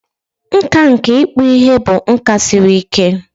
Nkà nke ịkpụ ihe bụ nka siri ike.